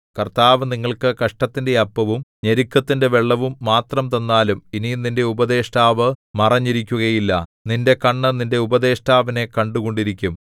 കർത്താവ് നിങ്ങൾക്ക് കഷ്ടത്തിന്റെ അപ്പവും ഞെരുക്കത്തിന്റെ വെള്ളവും മാത്രം തന്നാലും ഇനി നിന്റെ ഉപദേഷ്ടാവ് മറഞ്ഞിരിക്കുകയില്ല നിന്റെ കണ്ണ് നിന്റെ ഉപദേഷ്ടാവിനെ കണ്ടുകൊണ്ടിരിക്കും